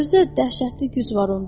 Özü də dəhşətli güc var onda.